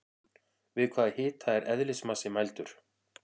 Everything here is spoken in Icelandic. Við hvaða hita er eðlismassi mældur?